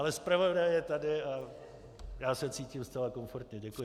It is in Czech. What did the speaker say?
Ale zpravodaj je tady a já se cítím zcela komfortně.